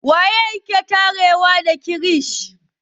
Wane ne ke tare da gfresh?